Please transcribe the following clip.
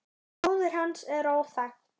Móðir hans er óþekkt.